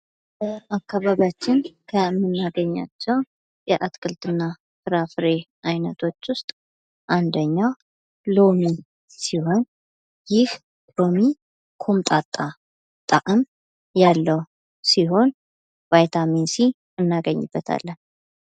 በአካባቢያችንን ከምናገኛቸው የአትክልትና ፍራፍሬ ዓይነቶች ውስጥ አንደኛው ሎሚ ሲሆን፤ ይህ ሎሚ ቆምጣጣ ጣዕም ያለው ሲሆን፤ ቫይታሚን ሲ እናገኝበታለን።